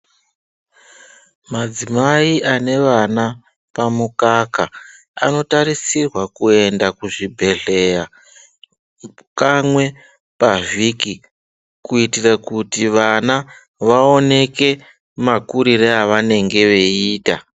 Madzimai ane vana pamukaka anotarisirwa kuenda kuzvibhedhleya kamwe pavhiki kuitire kuti vana vaoneke makurire evanenge veiita.